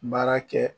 Baara kɛ